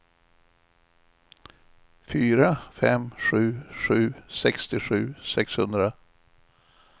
fyra fem sju sju sextiosju sexhundra